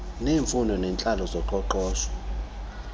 neemfuno zentlalo nezoqoqosho